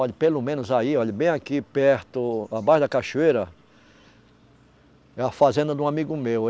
Olhe, pelo menos aí, olhe, bem aqui perto, abaixo da cachoeira, é a fazenda de um amigo meu.